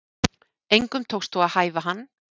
Engum tókst þó að hæfa hann